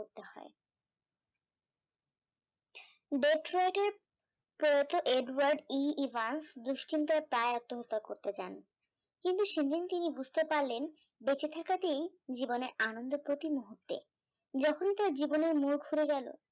প্রয়াত edward e evans দুশ্চিন্তায় প্রায় আত্মহত্যা করতে যান, কিন্ত সেইদিন তিনি বুঝতে পারলেন বেঁচে থাকাতেই জীবনে আনন্দ প্রতি মুহূর্তে, যখনই তার জীবনের মুরুখ ফিরে গেল